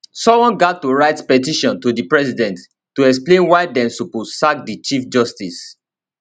someone gat to write petition to di president to explain why dem suppose sack di chief justice